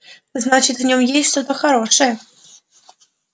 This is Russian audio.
значит в нём есть что-то хорошее